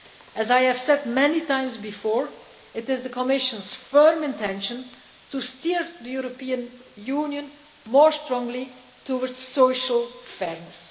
about. As I have said many times before, it is the Commission's firm intention to steer the European Union more strongly towards social fairness.